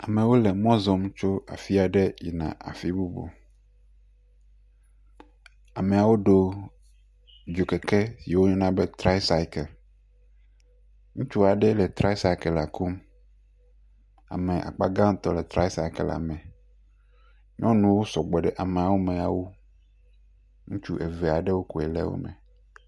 Amewo le mɔ zɔm tso afi aɖe yina afi bubu, ameawo ɖo dzokeke yike woyɔna be traisaikel, ŋutsu aɖe le traisaikelea kum, ame akpa gãtɔ wole traisaikele me, nyɔnuwo sɔgbɔ ɖe ameawo me awu, ŋutsuwo eve aɖewo koe le wo me.